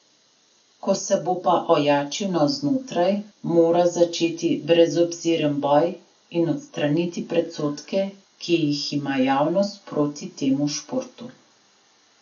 Ko se bo pa ojačil navznotraj, mora začeti brezobziren boj in odstraniti predsodke, ki jih ima javnost proti temu športu.